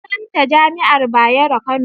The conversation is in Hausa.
Sunanta jami'ar Bayero, Kano